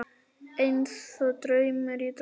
Einsog draumur í draumi.